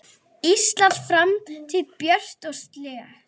Íslands framtíð björt og slétt.